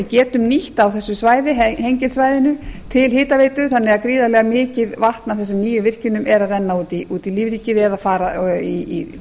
getum nýtt þá þessu svæði hengilssvæðinu til hitaveitu þannig að gríðarlega mikið vatn af þessum nýju virkjunum er að renna út í lífríkið eða fara í